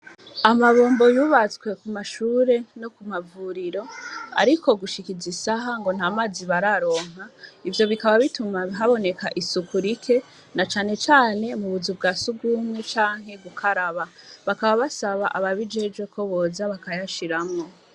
Amabombo yubatswe ku mashure no ku mavuriro, ariko gushikiza isaha ngo nta mazi bararonka ivyo bikaba bituma haboneka isuku rike na canecane mu buzu bwa sugumwe canke gukaraba bakaba basaba ababijeje ko boza bakayashiramwo.